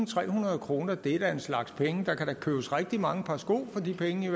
trehundrede kroner det er da en slags penge der kan købes rigtig mange par sko for de penge